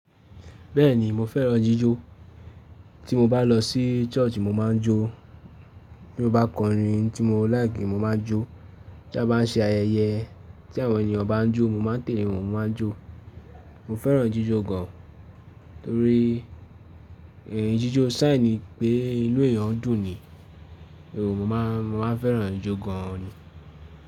Bẹ́ẹ̀ni mo fẹ́ràn jíjó. Tí mo bá lọ sí church mo máa ń jó, tí mo bá kọrin tí mo like mo máa ń jó, tí a bá ń ṣe ayẹyẹ tí àwọn ènìyàn bá ń jó mo máa tẹ̀le wọn mo máa jó. Mo fẹ́ràn jíjó gan torí ẹ̀rí jíjó sign pé ìlú ẹ̀yàn ń dùn ni. Èwo mo máa, mo máa fẹ́ràn jó gan ni.